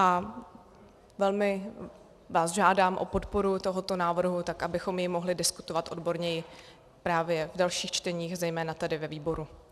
A velmi vás žádám o podporu tohoto návrhu, tak abychom jej mohli diskutovat odborněji právě v dalších čteních, zejména tedy ve výboru.